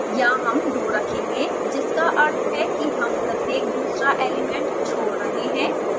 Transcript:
यहाँ हम दो रखेंगे जिसका अर्थ है कि हम प्रत्येक दूसरा एलिमेंट छोड़ रहे हैं